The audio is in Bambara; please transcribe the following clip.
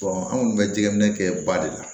anw kɔni bɛ jɛgɛ minɛ ba de la